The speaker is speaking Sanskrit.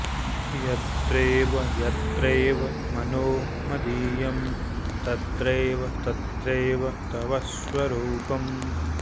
यत्रैव यत्रैव मनो मदीयं तत्रैव तत्रैव तव स्वरूपम्